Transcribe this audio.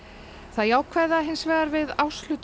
það jákvæða hins vegar við